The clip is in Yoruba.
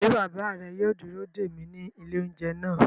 Ṣé bàbá rẹ yóò dúró dè mí ní ilé-oúnjẹ náà?